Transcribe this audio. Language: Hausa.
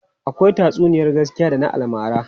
Akwai tatsuniyar gaskiya da na almara.